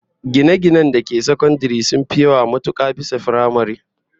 Gine-ginen da ke sakandare sun fi yawa matuka bisa na firamare